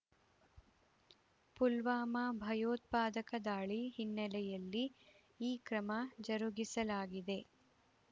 ಪುಲ್ವಾಮಾ ಭಯೋತ್ಪಾದಕ ದಾಳಿ ಹಿನ್ನೆಲೆಯಲ್ಲಿ ಈ ಕ್ರಮ ಜರುಗಿಸಲಾಗಿದೆ